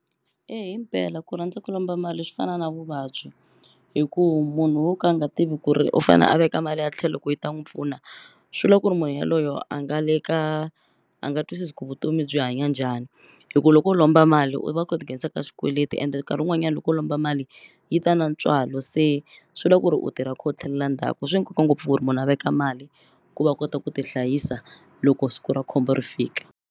Himpela ku rhandza ku lomba mali swi fana na vuvabyi hi ku munhu wo ka a nga tivi ku ri u fane a veka mali a tlhelo ku yi ta n'wu pfuna swi la ku ri munhu yaloyo a nga le ka a nga twisisi ku vutomi byi hanya njhani hi ku loko u lomba mali u va kha u ti nghenisa ka swikweleti ende nkarhi wun'wanyani loko u lomba mali yi ta na ntswalo se swi la ku ri u tirha u kha u tlhelela ndzhaku swi nkoka ngopfu ku ri munhu a veka mali ku va kota ku tihlayisa loko siku ra khombo ri fika.